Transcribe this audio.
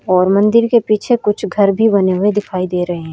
और मंदिर के पीछे कुछ घर भी बने हुए दिखाई दे रहे हैं।